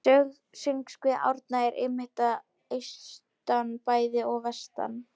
Sögusvið Árna er einmitt að austan bæði og vestan